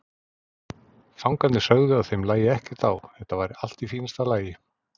Fangarnir sögðu að þeim lægi ekkert á, þetta væri allt í fínasta lagi.